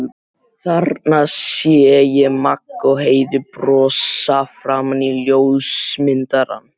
Þarna sé ég Magga og Heiðu brosa framan í ljósmyndarann.